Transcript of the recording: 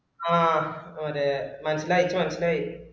ആ ഒര് മനസിലായി എൻക്ക് മനസിലായി